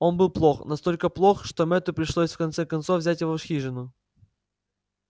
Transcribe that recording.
он был плох настолько плох что мэтту пришлось в конце концов взять его в хижину